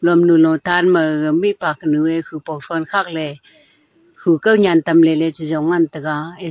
hom lulo tan ma gaga mihpa kunu e khupong thron khakley khu kaunyan tamley ley chi jong ngan taga e--